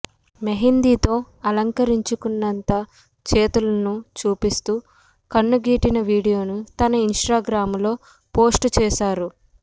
మోహిందీతో అలంకరించుకున్నత చేతులను చూపిస్తూ కన్నుగీటిన వీడియోను తన ఇన్స్టాగ్రాంలో పోస్టుచేశారు